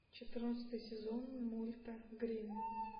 четырнадцатый сезон мульта гримм